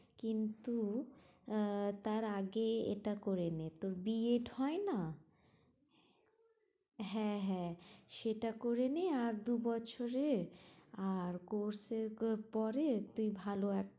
কিন্তু আহ তার আগে এটা করে নে তোর বি এড হয় না হ্যাঁ হ্যাঁ সেটা করে নে আর দুবছরের আর course এর পরে তুই ভালো এক